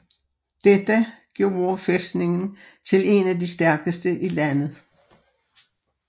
Detta gjorde fæstningen til en af de stærkeste i landet